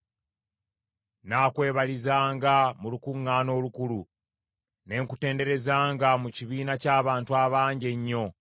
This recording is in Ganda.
Nnaakwebalizanga mu lukuŋŋaana olukulu, ne nkutenderezanga mu kibiina ky’abantu abangi ennyo.